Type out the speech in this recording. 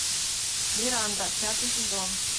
миранда пятый сезон